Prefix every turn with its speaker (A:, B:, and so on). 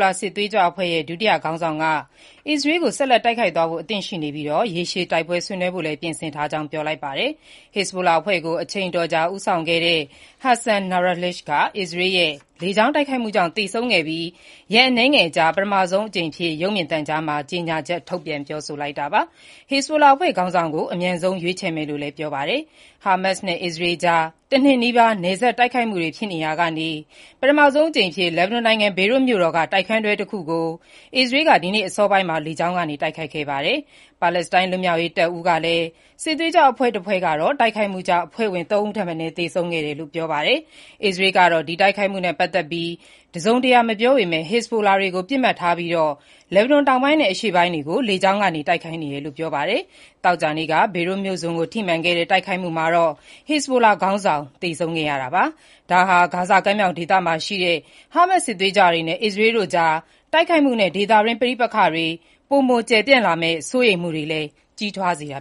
A: လာ စစ်သွေးကြွအဖွဲ့ရဲ့ ဒုတိယခေါင်းဆောင်က အစ္စရေးကို ဆက်လက် တိုက်ခိုက်သွားဖို့ အသင့်ရှိနေပြီး၊ ရေရှည်စစ်ပွဲ ဆင်နွှဲဖို့ ပြင်ဆင်ထားကြောင်း ပြောလိုက်ပါတယ်။ အစ္စရေးရဲ့ လေကြောင်းတိုက်ခိုက်မှုကြောင့် ဟက်ဇ်ဘူလာအဖွဲ့ကို အချိန်အတော်ကြာ ဦးဆောင်ခဲ့တဲ့ Hassan Nasrallah သေဆုံးခဲ့ပြီး ရက်အနည်းငယ်အကြာမှာ ပထမဆုံးအကြိမ်အဖြစ် Naim Qassem က ရုပ်မြင်သံကြားမှာ ကြေညာချက် ထုတ်ပြန်ပြောဆိုလိုက်တာပါ။ ဟက်ဇ်ဘူလာအဖွဲ့ခေါင်းဆောင်ကို အမြန်ဆုံး ရွေးချယ်မယ်လို့လည်း ပြောပါတယ်။ ဟာမတ်ဇ်နဲ့ အစ္စရေးကြား ၁ နှစ်နီးပါးကြာ နယ်စပ်မှာ တိုက်ခိုက်မှုတွေ ဖြစ်နေရာက ပထမဆုံးအကြိမ်အဖြစ် လက်ဘနွန်နိုင်ငံ ဘေရွတ်မြို့တော်က တိုက်ခန်းတွဲတခုကို အစ္စရေးက ဒီနေ့အစောပိုင်းမှာပဲ လေကြောင်းက တိုက်ခိုက်ခဲ့ပါတယ်။ ပါလက်စတိုင်းလွတ်မြောက်ရေးတပ်ဦး PFLP စစ်သွေးကြွအဖွဲ့တဖွဲ့ကတော့ တိုက်ခိုက်မှုကြောင့် အဖွဲ့ဝင် ၃ ဦးထက်မနည်း သေဆုံးခဲ့တယ်လို့ ပြောပါတယ်။ အစ္စရေးကတော့ ဒီတိုက်ခိုက်မှုနဲ့ ပတ်သက်ပြီး တစုံတရာ မပြောပေမဲ့ ဟစ်ဇ်ဘိုလာတွေကို ပစ်မှတ်ထားပြီး လက်ဘနွန်တောင်ပိုင်းနဲ့ အရှေ့ပိုင်းတို့ကို လေကြောင်းကနေ တိုက်ခိုက်နေတယ်လို့ ပြောပါတယ်။ သောကြာနေ့က ဘေရွတ်မြို့စွန်ကို ထိမှတ်ခဲ့တဲ့ တိုက်ခိုက်မှုမှာတော့ ဟစ်ဇ်ဘိုလာ ခေါင်းဆောင်ဖြစ်တဲ့ Hassan Nasrallah (ဟက်ဆန် နာစရယ်လာ) သေဆုံးခဲ့ပါတယ်။ ဒါဟာ ဂါဇာကမ်းမြောင်ဒေသရှိ ဟားမတ်စ်စစ်သွေးကြွတွေနဲ့ အစ္စအရေးတို့ကြား တိုက်ခိုက်မှုနဲ့ ဒေသတွင်း ပဋိက္ခတွေ ပိုမိုပျယ်ပြန့်လာမှာကို စိုးရိမ်မှုတွေလည်း ကြီးထ
B: ွားလာနေတာ